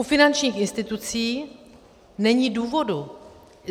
U finančních institucí není důvodu.